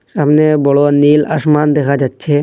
সামনে বড় নীল আসমান দেখা যাচ্ছে।